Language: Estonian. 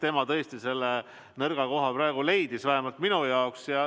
Tema tõesti selle nõrga koha leidis, vähemalt minu jaoks.